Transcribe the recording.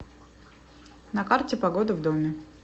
на карте погода в доме